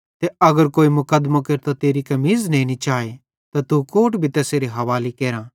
ते अगर कोई मुकदमों केरतां तेरी कमीज़ नेनी चाए त तू कोट भी तैसेरे हवाले केरां